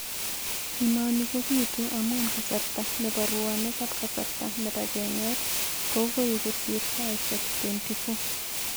Inoni kopitu amun kasarta nepo ruonik ak kasarta nepo kenget kogoi kosir saisiek 24.